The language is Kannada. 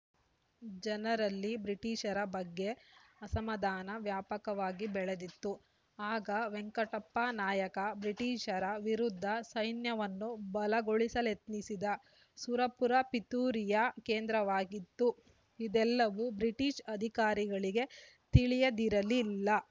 ಜನರಲ್ಲಿ ಬ್ರಿಟಿಷರ ಬಗ್ಗೆ ಅಸಮಾಧಾನ ವ್ಯಾಪಕವಾಗಿ ಬೆಳೆದಿತ್ತು ಆಗ ವೆಂಕಟಪ್ಪನಾಯಕ ಬ್ರಿಟಿಷರ ವಿರುದ್ಧ ಸೈನ್ಯವನ್ನು ಬಲಗೊಳಿಸಲೆತ್ನಿಸಿದ ಸುರಪುರ ಪಿತೂರಿಯ ಕೇಂದ್ರವಾಯಿತು ಇದೆಲ್ಲವೂ ಬ್ರಿಟಿಷ್‌ ಅಧಿಕಾರಿಗಳಿಗೆ ತಿಳಿಯದಿರಲಿಲ್ಲ